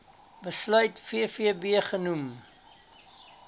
besluit vvb genoem